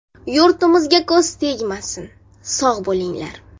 Yurtimizga ko‘z tegmasin, sog‘ bo‘linglar!